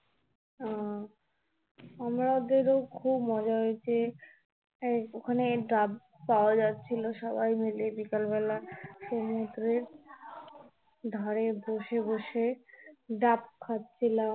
আহ আমাদের ও খুব মজা হয়েছে. ওখানে ডাব পাওয়া যাচ্ছিলো সবাই মিলে বিকাল বেলা সমুদ্রের ধারে বসে বসে ডাব খাচ্ছিলাম